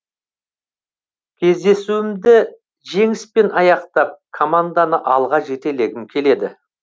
кездесуімді жеңіспен аяқтап команданы алға жетелегім келеді